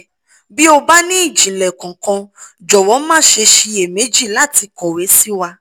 bí o bá ní ìjìnlẹ̀ kankan jọ̀wọ́ má ṣe ṣiyè méjì láti kọ̀wé sí wa